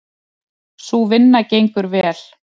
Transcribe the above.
Sú vinna gengur vel.